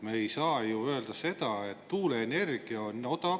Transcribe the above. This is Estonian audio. Me ei saa ju öelda, et tuuleenergia on odav.